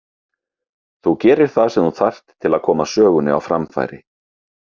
Þú gerir það sem þú þarft til að koma sögunni á framfæri.